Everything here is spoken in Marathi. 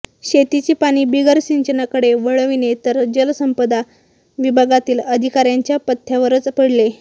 शेतीचे पाणी बिगर सिंचनाकडे वळविणे तर जल संपदा विभागातील अधिकाऱयांच्या पथ्यावरच पडले